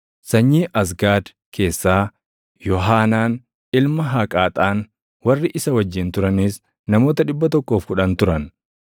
sanyii Azgaad keessaa Yoohaanaan ilma Haqaaxaan; warri isa wajjin turanis namoota 110 turan;